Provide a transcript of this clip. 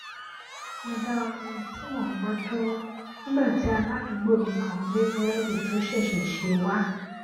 mo dá orin tí mò ń gbó dúró nígbà tí aládùúgbò mi kan gbé búrédì tó ṣèṣè sè wá